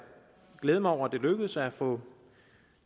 glæde mig over at det lykkedes at få